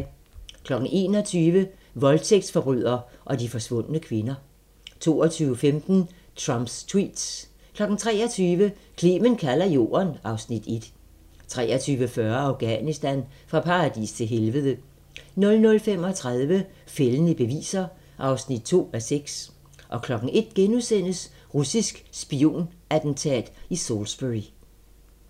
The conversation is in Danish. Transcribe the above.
21:00: Voldtægtsforbryder og de forsvundne kvinder 22:15: Trumps tweets 23:00: Clement kalder jorden (Afs. 1) 23:40: Afghanistan: Fra paradis til helvede 00:35: Fældende beviser (2:6) 01:00: Russisk spionattentat i Salisbury *